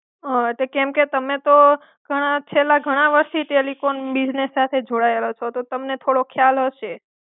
હ કેમ કે તમે તો, ખાણાં ચેલા ખાણાં વર્ષથી ટેલિકોમ બિઝનેસ સાથે જોડાયેલા છો, તો તમને થોડો ખ્યાલ હશે.